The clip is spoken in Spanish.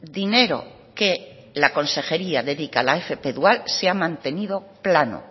dinero que la consejería dedica a la fp dual se ha mantenido plano